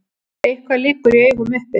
Eitthvað liggur í augum uppi